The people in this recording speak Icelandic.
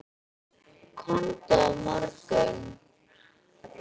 Komdu á morgun.